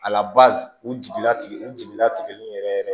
A lab u jiginna tigɛ u jigila tigɛli yɛrɛ yɛrɛ